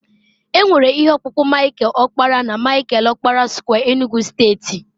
e nwere ihe ọkpụkpụ Michael okpara na Michael okpara square Enugu steeti